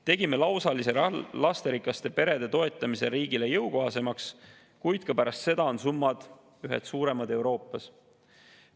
Tegime lasterikaste perede lausalise toetamise riigile jõukohasemaks, kuid ka pärast seda on ühed suuremad Euroopas.